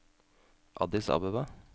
Addis Abeba